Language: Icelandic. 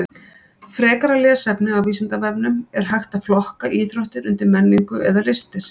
Frekara lesefni á Vísindavefnum: Er hægt að flokka íþróttir undir menningu eða listir?